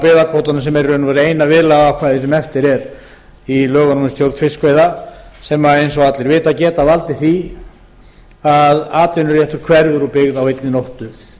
byggðakvótanum sem er í raun og veru eina viðlagaákvæði sem eftir er í lögunum um stjórn fiskveiða sem eins og allir vita geta valdið því að atvinnuréttur hverfur úr byggð á einni nóttu